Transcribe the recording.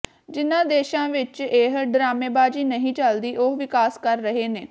ਜਿਨ੍ਹਾਂ ਦੇਸ਼ਾਂ ਵਿੱਚ ਇਹ ਡਰਾਮੇਬਾਜ਼ੀ ਨਹੀਂ ਚੱਲਦੀ ਉਹ ਵਿਕਾਸ ਕਰ ਰਹੇ ਨੇ